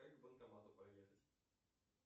как к банкомату проехать